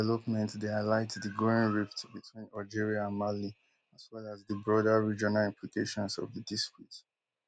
dis development dey highlight di growing rift between algeria and mali as well as as di broader regional implications of di dispute